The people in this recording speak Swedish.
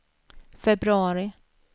februari